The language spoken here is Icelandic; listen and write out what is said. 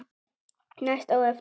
Næst á eftir